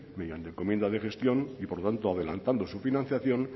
mediante encomienda de gestión y por tanto adelantando su financiación